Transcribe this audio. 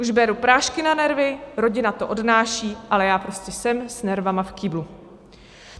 Už beru prášky na nervy, rodina to odnáší, ale já prostě jsem s nervy v kýblu.